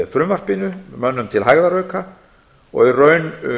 frumvarpinu mönnum til hægðarauka og í raun